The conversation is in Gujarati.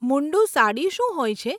મુન્ડું સાડી શું હોય છે?